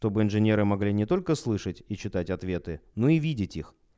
чтобы инженеры могли не только слышать и читать ответы но и видеть их